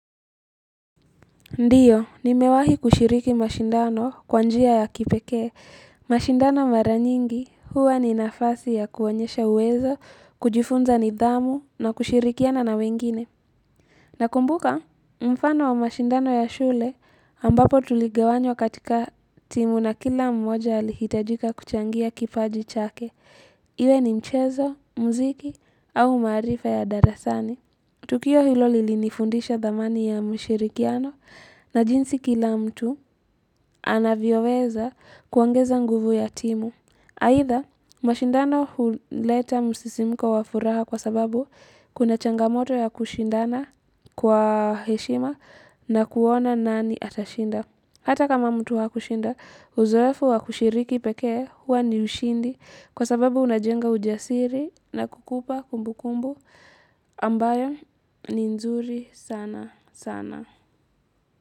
Ndio, nimewahi kushiriki mashindano kwa njia ya kipekee. Mashindano maranyingi, huwa ni nafasi ya kuwanyesha uwezo, kujifunza ni dhamu na kushirikiana na wengine. Nakumbuka, mfano wa mashindano ya shule ambapo tuligawanywa katika timu na kila mmoja lihitajika kuchangia kipaji chake. Iwe ni mchezo, mziki au maarifa ya darasani. Tukio hilo lilinifundisha dhamani ya mshirikiano na jinsi kila mtu anavyoweza kuongeza nguvu ya timu. Aidha, mashindano huleta msisimuko wa furaha kwa sababu kuna changamoto ya kushindana kwa heshima na kuona nani atashinda. Hata kama mtu wakushinda, uzoefu wa kushiriki pekee huwa ni ushindi kwa sababu unajenga ujasiri na kukupa kumbu kumbu ambayo ni nzuri sana sana.